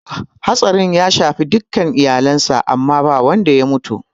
Hatsarin ya shafi dukka iyalen sa amma ba wadda ya mutu